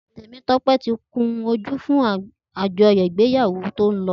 Temitope ti kúnjù fùn ájọyọ̀ igbéyáwó tó n lọ